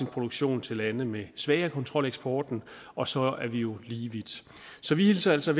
produktion til lande med svagere kontrol af eksporten og så er vi jo lige vidt så vi hilser altså